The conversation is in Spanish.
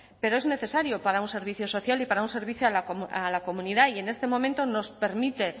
pero es necesario para un servicio social y para un servicio a la comunidad y en este momento nos permite